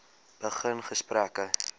begin gesprekke